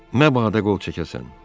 Məbadə qol çəkəsən.